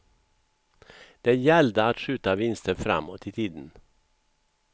Det gällde att skjuta vinster framåt i tiden.